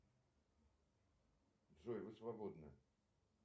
джой вы свободны